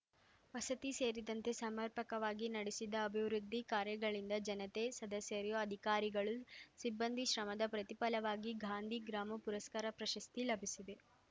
ವಸತಿ ಸೇರಿದಂತೆ ಸಮರ್ಪಕವಾಗಿ ನಡೆಸಿದ ಅಭಿವೃದ್ಧಿ ಕಾರ್ಯಗಳಿಂದ ಜನತೆ ಸದಸ್ಯರು ಅಧಿಕಾರಿಗಳು ಸಿಬ್ಬಂದಿ ಶ್ರಮದ ಪ್ರತಿಫಲವಾಗಿ ಗಾಂಧಿ ಗ್ರಾಮ ಪುರಸ್ಕಾರ ಪ್ರಶಸ್ತಿ ಲಭಿಸಿದೆ